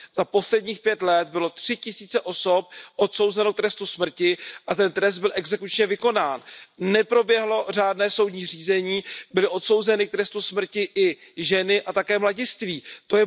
Za posledních pět let byly tři tisíce osob odsouzeny k trestu smrti a ten trest byl exekučně vykonán. Neproběhlo řádné soudní řízení, byli odsouzeni k trestu smrti mladiství a také ženy.